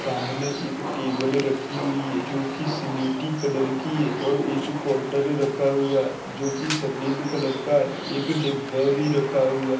सामने एक टेबल रखी हुई है जोकि स्लेटी कलर की है और एक काऊंटर रखा हुआ है जोकि सफ़ेद कलर का है एक डेब्बा भी रखा हुआ--